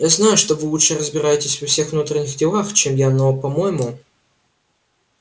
я знаю что вы лучше разбираетесь во всех внутренних делах чем я но по-моему